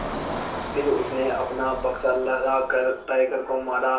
फिर उसने अपना बक्सा लहरा कर टाइगर को मारा